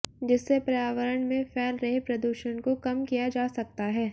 जिससे पर्यावरण में फैल रहे प्रदूषण को कम किया जा सकता है